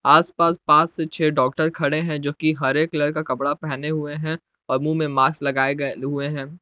आसपास पांच से छह डॉक्टर खड़े हैं जोकि हरे कलर का कपड़ा पहने हुए हैं और मुंह में मास्क लगाए गए हुए हैं।